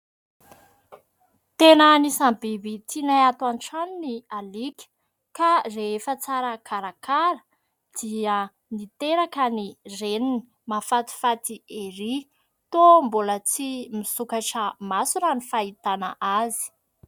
Tena anisany biby tianay ato an-trano ny alika ka rehefa tsara karakara dia niteraka ny reniny, mahafatifaty erỳ ! Toa mbola tsy misokatra maso raha ny fahitana azy.